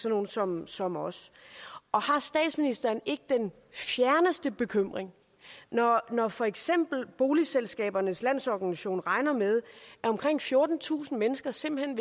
nogle som som os og har statsministeren ikke den fjerneste bekymring når når for eksempel boligselskabernes landsorganisation regner med at omkring fjortentusind mennesker simpelt hen